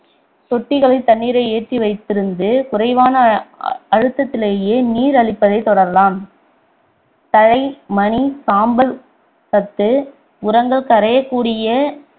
தொட்டிகளில் தண்ணீரை ஏற்றி வைத்திருந்து குறைவான அ~ அழுத்தத்திலேயே நீர் அளிப்பதைத் தொடரலாம் தழை மணி சாம்பல் சத்து உரங்கள் கரையக்கூடிய